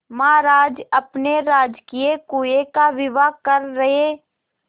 महाराज अपने राजकीय कुएं का विवाह कर रहे